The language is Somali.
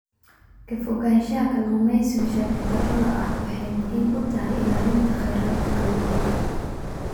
Ka fogaanshaha kalluumeysiga sharci darrada ah waxay muhiim u tahay ilaalinta kheyraadka kalluunka.